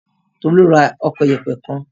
Tolu ra ọkọ̀ ìyẹ̀pẹ̀ kan.